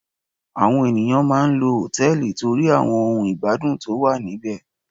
Àwọn ènìyàn máà ń lọ hòtẹ́ẹ̀lì torí àwọn ohun ìgbádùn tó wà níbẹ̀.